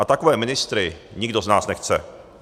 A takové ministry nikdo z nás nechce.